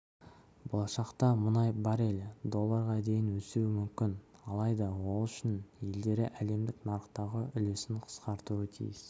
болашақта мұнай баррелі долларға дейін өсуі мүмкін алайда ол үшін елдері әлемдік нарықтағы үлесін қысқартуы тиіс